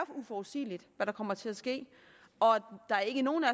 uforudsigeligt hvad der kommer til at ske og der er ikke nogen af